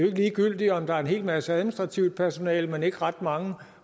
ikke ligegyldigt om der er en hel masse administrativt personale men ikke ret mange